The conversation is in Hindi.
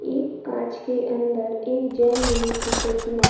एक कांच के अंदर एक जैन मुनि की प्रतिमा --